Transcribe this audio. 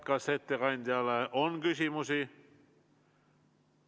Kas ettekandjale on küsimusi?